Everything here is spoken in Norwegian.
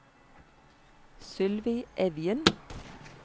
Sylvi Evjen